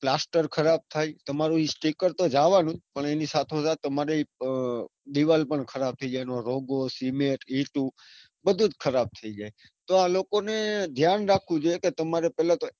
plaster ખરાબ થાય તમારું sticker તો જવાનું જ પણ એની સાથે તમારી દીવાલ પણ રોગો cement ઈંટો બધું જ ખરાબ થઇ જાય તો લોકોને ધ્યાન રાખવું જોઈએ કે તમારે પેલા તો,